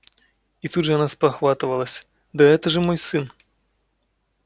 и тут же она спохватывалась да это же мой сын